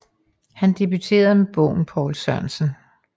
Han debuterede med bogen Poul Sørensen